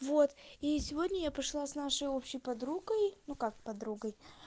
вот и сегодня я пошла с нашей общей подругой ну как подругой